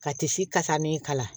Ka tisi kasa min kala